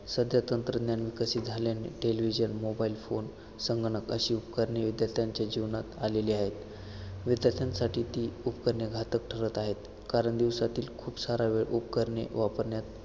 सध्या तंत्रज्ञान विकसित झाल्याने televisionmobile phone संगणक अशी उपकरणे विद्यार्थ्यांच्या जीवनात आलेली आहेत विद्यार्थ्यांसाठी ती उपकरणे घातक ठरत आहेत कारण दिवसातील खूप सारा वेळ उपकरणे वापरण्यात